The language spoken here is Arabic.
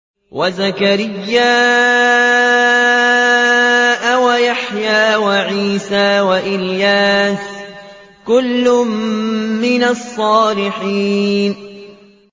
وَزَكَرِيَّا وَيَحْيَىٰ وَعِيسَىٰ وَإِلْيَاسَ ۖ كُلٌّ مِّنَ الصَّالِحِينَ